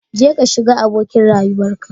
Jeka shiga abokin rayuwarka